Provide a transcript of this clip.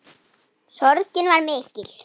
Sorgin var mikil.